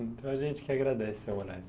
Então, a gente que agradece, seu.